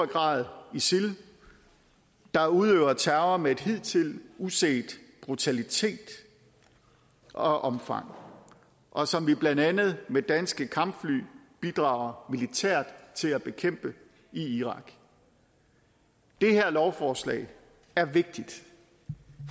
grad isil der udøver terror med en hidtil uset brutalitet og omfang og som vi blandt andet med danske kampfly bidrager militært til at bekæmpe i irak det her lovforslag er vigtigt